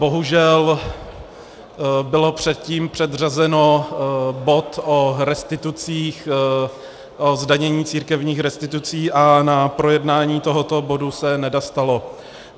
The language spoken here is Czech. Bohužel byl předtím předřazen bod o restitucích, o zdanění církevních restitucí, a na projednání tohoto bodu se nedostalo.